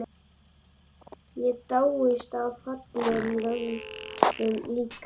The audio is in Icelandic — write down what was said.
Og ég dáist að fallega löguðum líkama mínum.